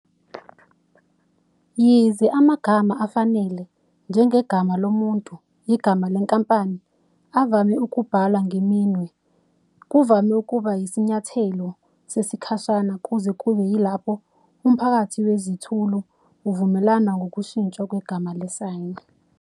Yize amagama afanele, njengegama lomuntu, igama lenkampani, evame ukubhalwa ngeminwe, kuvame ukuba yisinyathelo sesikhashana kuze kube yilapho umphakathi Wezithulu uvumelana ngokushintshwa kwegama le-Sign.